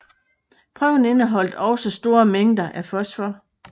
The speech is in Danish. Prøven indeholdt også store mængder af fosfor